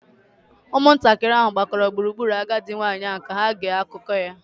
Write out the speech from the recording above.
Ụmụntakịrị ahụ gbakọrọ gburugburu agadi nwanyị ahụ ka ha gee akụkọ ya